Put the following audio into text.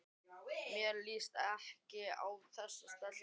Mér líst ekkert á þessa stelpu.